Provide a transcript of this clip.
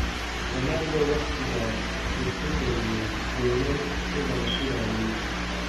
Ronaldo, waqtigaas, wuxuu dhaliyay golol, sida la filayay.